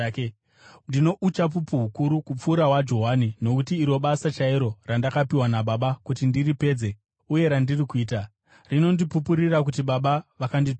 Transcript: “Ndino uchapupu hukuru kupfuura hwaJohani. Nokuti iro basa chairo randakapiwa naBaba kuti ndiripedze, uye randiri kuita, rinondipupurira kuti Baba vakandituma.